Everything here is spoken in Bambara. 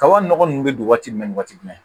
Kaba nɔgɔ nunnu be don waati jumɛn ni waati jumɛn